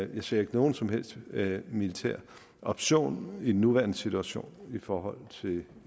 jeg ser ikke nogen som helst militær option i den nuværende situation i forhold til